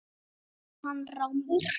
spurði hann rámur.